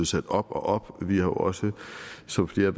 sat op og op vi har jo også som flere